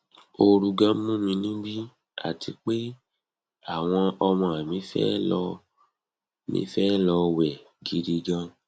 ooru ganan mu níbí àti pé àwọn ọmọ mi fe lo mi fe lo we gidi gan